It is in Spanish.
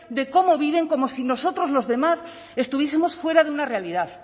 de cómo viven como si nosotros los demás estuviesemos fuera de una realidad